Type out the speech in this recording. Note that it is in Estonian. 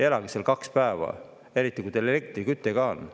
Elage seal kaks päeva, eriti kui teil elektriküte ka on.